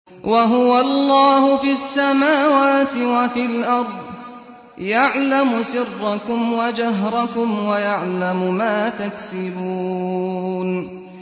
وَهُوَ اللَّهُ فِي السَّمَاوَاتِ وَفِي الْأَرْضِ ۖ يَعْلَمُ سِرَّكُمْ وَجَهْرَكُمْ وَيَعْلَمُ مَا تَكْسِبُونَ